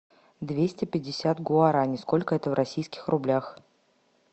двести пятьдесят гуарани сколько это в российских рублях